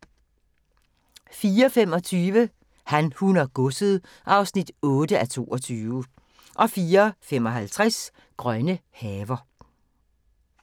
04:25: Han, hun og godset (8:22) 04:55: Grønne haver